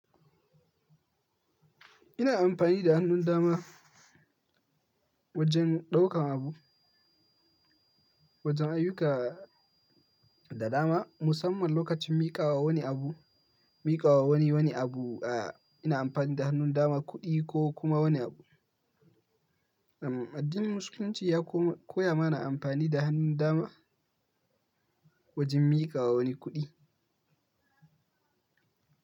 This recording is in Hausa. Ina amfani da hannun dama wajen ɗaukan abu, wajen ayyuka da dama musamman lokacin miƙawa wani abu, miƙawa wani, wani abu a ina amfani da hannun dama kuɗi ko kuma wani abu. Addinin Musulunci ya ko-koya mana amfani da hannun dama wajen miƙawa wani kuɗi.